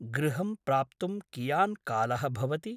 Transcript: गृहं प्राप्तुं कियान् कालः भवति?